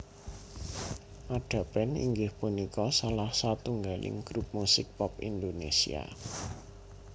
Ada Band inggih punika salah satunggaling grup musik pop Indonesia